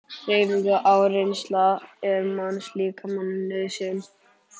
Hreyfing og áreynsla er mannslíkamanum nauðsyn.